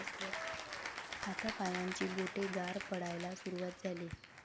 हातापायांची बोटे गार पडायला सुरुवात झाली.